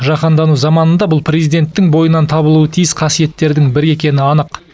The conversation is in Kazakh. жаһандану заманында бұл президенттің бойынан табылуы тиіс қасиеттердің бірі екені анық